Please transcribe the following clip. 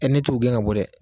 ne t'o gɛn ka bɔ dɛ